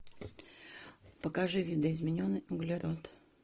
покажи видоизмененный углерод